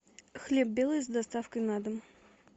хлеб белый с доставкой на дом